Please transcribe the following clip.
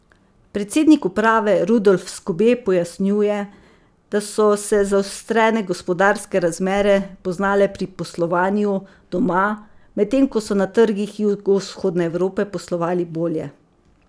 Predsednik uprave Rudolf Skobe pojasnjuje, da so se zaostrene gospodarske razmere poznale pri poslovanju doma, medtem ko so na trgih jugovzhodne Evrope poslovali bolje.